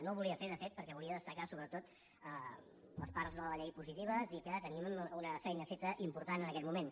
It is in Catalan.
no ho volia fer de fet perquè volia destacar sobretot les parts de la llei positives i que tenim una feina feta important en aquest moment